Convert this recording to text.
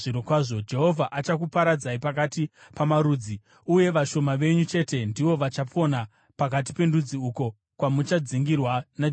Jehovha achakuparadzirai pakati pamarudzi, uye vashoma venyu chete ndivo vachapona pakati pendudzi uko kwamuchadzingirwa naJehovha.